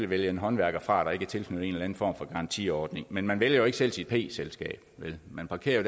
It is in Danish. vælge en håndværker fra der ikke er tilknyttet en form for garantiordning men man vælger jo ikke selv sit p selskab man parkerer